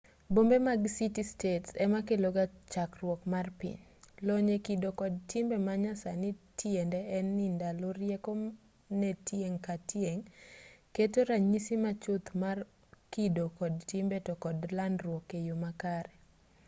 bombe mag city-states ema keloga chakruok mar piny lony e kido kod timbe ma nyasani tiende en ni lando rieko ne tieng' ka tieng' keto ranyisi ma chuth mar kido kod timbe to kod landruok e yo makare